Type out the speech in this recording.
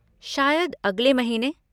शायद अगले महीने।